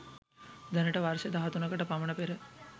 දැනට වර්ෂ 13 කට පමණ පෙර